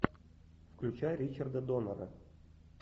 включай ричарда доннера